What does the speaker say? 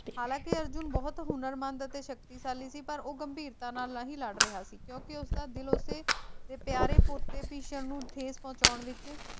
ਹਾਲਾਂਕਿ ਅਰਜੁਨ ਬਹੁਤ ਹੁਨਰਮੰਦ ਅਤੇ ਸ਼ਕਤੀਸ਼ਾਲੀ ਸੀ ਪਰ ਉਹ ਗੰਭੀਰਤਾ ਨਾਲ ਨਹੀਂ ਲੜ ਰਿਹਾ ਸੀ ਕਿਉਂਕਿ ਉਸ ਦਾ ਦਿਲ ਉਸਦੇ ਪਿਆਰੇ ਪੋਤੇ ਭਿਸ਼ਮ ਨੂੰ ਠੇਸ ਪਹੁੰਚਾਉਣ ਵਿੱਚ